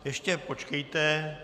Ještě počkejte.